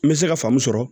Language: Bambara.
N bɛ se ka faamu sɔrɔ